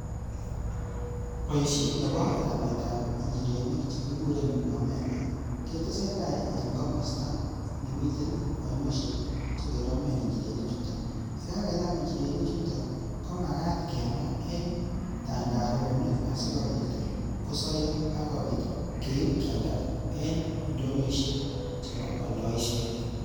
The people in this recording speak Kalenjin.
Boisite nebo rametab injirenik che kiguren omena ketesentai en komostanemiten ainoshek che keromen injirenichuto, ye kageram injirenichuto komagat kema en tandaronik asikobit kosoiyo ak kobit keib kyalda en ndonyoishek chebo oldoishet.